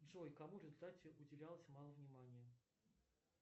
джой кому в результате уделялось мало внимания